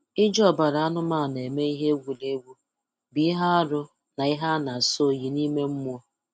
Iji ọbara anụmanụ eme ihe egwuregwu bụ ihe arụ na ihe a na-asọ oyi n'ime mmụọ.